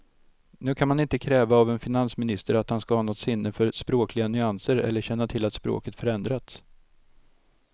Nu kan man inte kräva av en finansminister att han ska ha något sinne för språkliga nyanser eller känna till att språket förändrats.